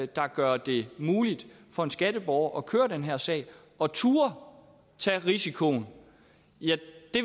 der gør det muligt for en skatteborger at køre den her sag og turde tage risikoen